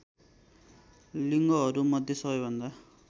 लिङ्गहरूमध्ये सबैभन्दा